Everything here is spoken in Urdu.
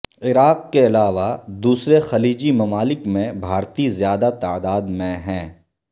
عراق کے علاوہ دوسرے خلیجی ممالک میں بھارتی زیادہ تعداد میں ہیں